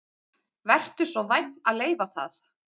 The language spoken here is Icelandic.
Vertu svo vænn að leyfa það